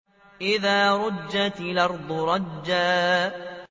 إِذَا رُجَّتِ الْأَرْضُ رَجًّا